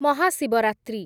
Mahashivratri